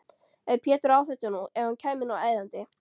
Ef Pétur á þetta nú. ef hann kæmi nú æðandi!